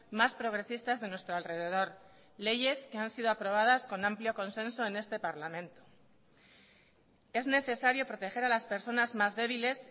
más progresistas de nuestro alrededor leyes que han sido aprobadas con amplio consenso en este parlamento es necesario proteger a las personas más débiles